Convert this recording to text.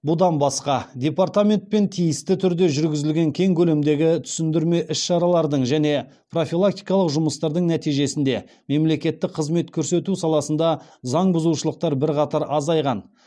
бұдан басқа департаментпен тиісті түрде жүргізілген кең көлемдегі түсіндірме іс шаралардың және профилактикалық жұмыстардың нәтижесінде мемлекеттік қызмет көрсету саласында заңбұзушылықтар бірқатар азайған